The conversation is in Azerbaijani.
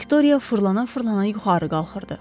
Viktoriya fırlana-fırlana yuxarı qalxırdı.